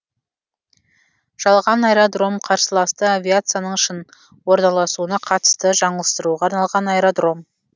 жалған аэродром қарсыласты авиацияның шын орналасуына қатысты жаңылыстыруға арналған аэродром